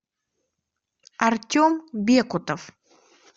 артем бекутов